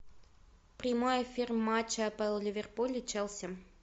прямой эфир матча апл ливерпуль и челси